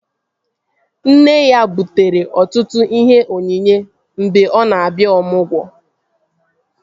Nne ya butere ọtụtụ ihe onyinye mgbe ọ na-abịa ọmụgwọ